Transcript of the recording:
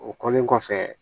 O kɔlen kɔfɛ